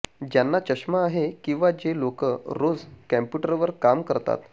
ज्यांना चष्मा आहे किंवा जे लोकं रोज कंप्यूटरवर काम करतात